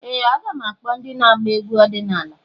Ee! Aga m akpọ ndị na-agba egwu ọdịnala.